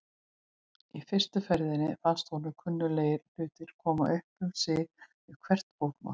Í fyrstu ferðinni fannst honum kunnuglegir hlutir koma upp um sig við hvert fótmál.